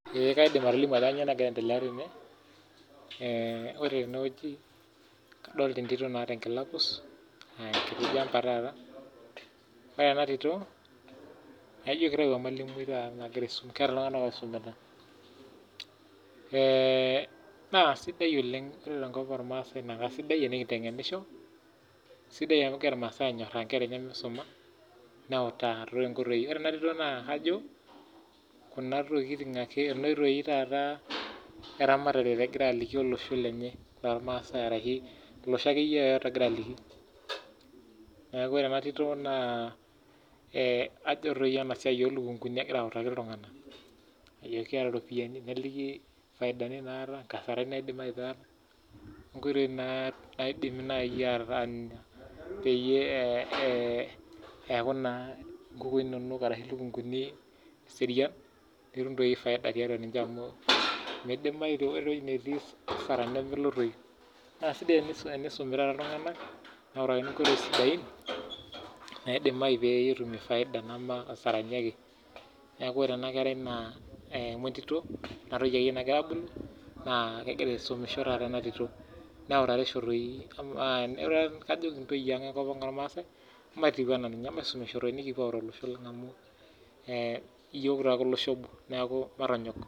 Ee kaidim atolimu ajo kanyioo nagira aendelea tene, ore tenewueji kadolta entito naata enkila pus, enkiti jamber taata, ore enatito, naijo kitau emalimui taata nagira aisum keeta iltung'anak oisumita. Na sidai oleng tenkop ormaasai na kasidai tenikinteng'enisho, sidai amu kegira irmaasai anyorraa nkera enye misuma, neutaa tonkoitoii. Ore enatito naa kajo, kuna tokiting ake kuna oitoi taata eramatare egira aliki olosho lenye lormasai arahi, olosho akeyie yoyote ogira aliki. Neeku ore enatito naa ajo toi enasiai olukunkuni egira autaki iltung'anak. Ajoki keeta ropiyiani, neliki faidani naata, nkasarani naidim aita, inkoitoi naidimi nai atanya peyie eh eku naa nkukui nonok arashu lukunkuni serian, nitum toi faida tiatua ninche amu midimayu ore ewoi netii asara nemelotoyu. Na sidai tenisumi taata iltung'anak, neotakini nkoitoi sidain, naidimayu petumie faida enama nkasarani ake. Neeku ore enakerai naa amu entito, kuna toyie ake nagira abulu, naa kegira aisumisho taata enatito. Neutatisho toi, kajoki ntoyie ang enkop ang ormaasai, matiu enaa ninye, emaisumisho nikipuo autaa olosho lang amu, iyiok taake olosho obo neeku matonyok.